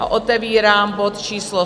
A otevírám bod číslo